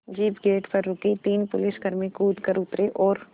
jeep gate पर रुकी तीन पुलिसकर्मी कूद कर उतरे और